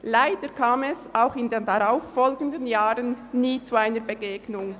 – Leider kam es auch in den darauffolgenden Jahren nie zu einer Begegnung.